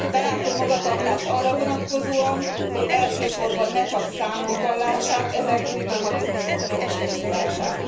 Belátó magatartást arra vonatkozóan, hogy elsősorban ne csak számokban lássák ezen új mechanizmusok megvalósulását.